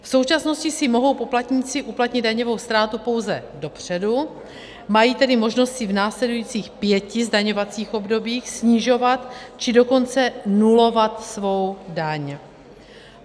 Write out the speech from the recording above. V současnosti si mohou poplatníci uplatnit daňovou ztrátu pouze dopředu, mají tedy možnost si v následujících pěti zdaňovacích obdobích snižovat, či dokonce nulovat svou daň.